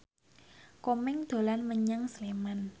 Komeng dolan menyang Sleman